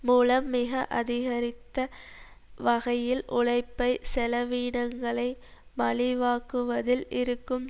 மூலம் மிக அதிகரித்த வகையில் உழைப்பு செலவீனங்களை மலிவாக்குவதில் இருக்கும்